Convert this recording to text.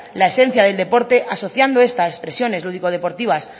la esencia del deporte asociando a esta expresiones lúdico deportivas